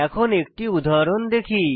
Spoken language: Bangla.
এখন একটি উদাহরণ দেখি